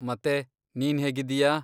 ಮತ್ತೆ, ನೀನ್ಹೇಗಿದ್ದೀಯಾ?